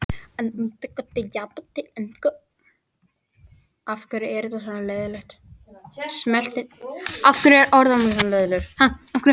Að minnsta kosti til Jakobs og Elsu.